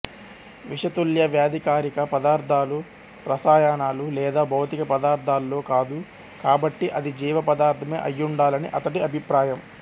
విషతుల్య వ్యాధికారక పదార్థాలు రసాయనాలు లేదా భౌతిక పదార్థాలో కాదు కాబట్టి అది జీవ పదార్థమే అయ్యుండాలని అతడి అభిప్రాయం